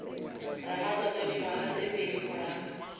ramatlotlo dingwaga tse pedi morago